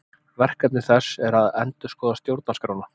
Verkefni þess er að endurskoða stjórnarskrána